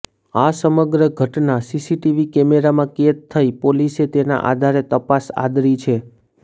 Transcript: આ સમગ્ર ઘટના સીસીટીવી કેમેરામાં કેદ થઈ પોલીસે તેના આધારે તપાસ આદરી છે